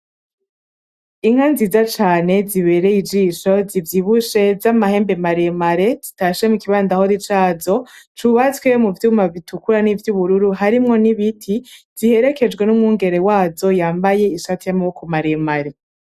Inka nziza cane zibereye ijisho zivyibushe namahembe maremare zitashe mukibandahori zaco, cubatswe muvyuma bitukura nivyubururu harimwo nibiti ziherekejwe numwungere wazo yambaye ishati yamaboko maremare.